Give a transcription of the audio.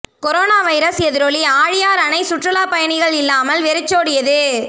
corona virus எதிரொலி ஆழியார் அணை சுற்றுலா பயணிகள் இல்லாமல் வெறிச்சோடியது